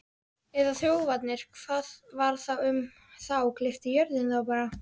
Eða þjófarnir, hvað varð um þá, gleypti jörðin þá bara?